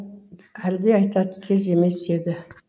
әлди айтатын кез емес еді